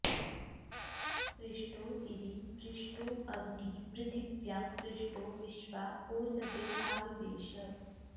पृ॒ष्टो दि॒वि पृ॒ष्टो अ॒ग्निः पृ॑थि॒व्यां पृ॒ष्टो विश्वा॒ ओष॑दी॒रावि॑वेश